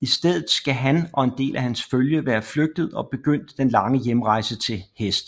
I stedet skal han og en del af hans følge være flygtet og begyndt den lange hjemrejse til hest